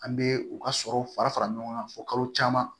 An bɛ u ka sɔrɔw fara fara ɲɔgɔn kan fɔ kalo caman